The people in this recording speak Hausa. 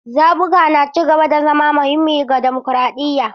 Zaɓuka na ci gaba da zama muhimmi ga dimokuraɗiyya.